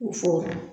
U fɔ